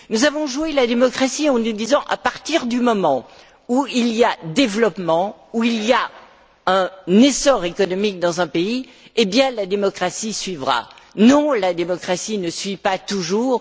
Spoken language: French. Nous avons joué la démocratie en nous disant À partir du moment où il y a développement, où il y a essor économique dans un pays, la démocratie suivra. Non, la démocratie ne suit pas toujours.